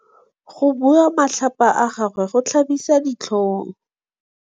Go bua matlhapa ga gagwe go tlhabisa ditlhong.